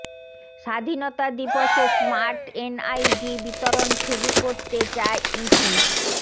স্বাধীনতা দিবসে smart NID বিতরণ শুরু করতে চায় ইসি